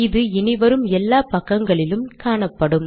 இது இனி வரும் எல்லா பக்கங்களிலும் காணப்படும்